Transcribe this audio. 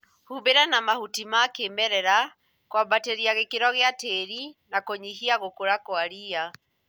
Humbĩra na mahuti ma kĩmerera kũambatĩria gĩkĩro gia tĩri na kũnyihia gũkũra kwa ria